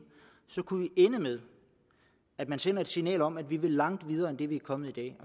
kunne ende med at man sendte et signal om at vi vil langt videre end det vi er kommet i